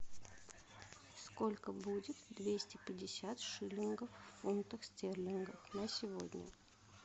сколько будет двести пятьдесят шиллингов в фунтах стерлингах на сегодня